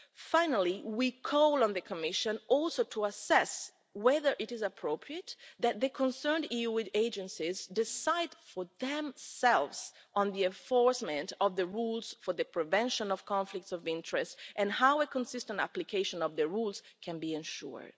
Finally, we call on the Commission also to assess whether it is appropriate that the EU agencies concerned decide for themselves on the enforcement of the rules for the prevention of conflicts of interest and how a consistent application of the rules can be ensured.